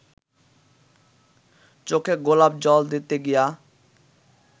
চোখে গোলাপ জল দিতে গিয়া